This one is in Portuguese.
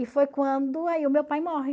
E foi quando aí o meu pai morre.